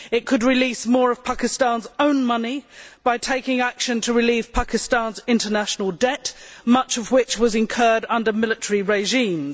It could release more of Pakistan's own money by taking action to relieve Pakistan's international debt, much of which was incurred under military regimes.